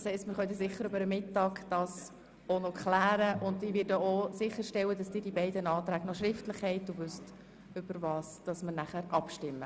Das heisst, wir können das sicher während der Mittagspause klären, und ich werde dafür sorgen, dass Sie beide Anträge noch schriftlich erhalten und wissen, worüber wir abstimmen.